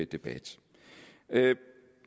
debat ja